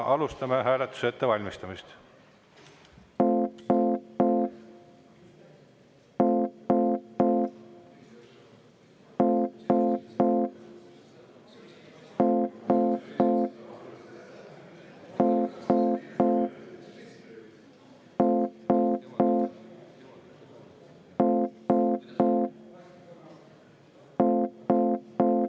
Alustame hääletuse ettevalmistamist.